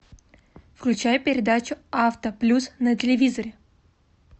включай передачу авто плюс на телевизоре